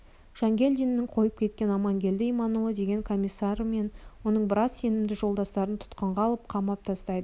жангелдиннің қойып кеткен амангелді иманұлы деген комиссары мен оның біраз сенімді жолдастарын тұтқынға алып қамап тастайды